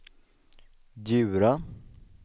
Djura